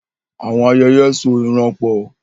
Àwọn ayẹyẹ so ìran pọ̀.